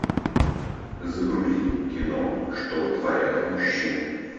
загрузи кино что творят мужчины